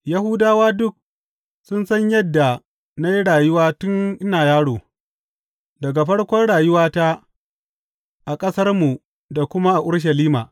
Yahudawa duk sun san yadda na yi rayuwa tun ina yaro, daga farkon rayuwata a ƙasarmu da kuma a Urushalima.